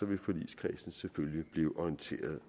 vil forligskredsen selvfølgelig bliver orienteret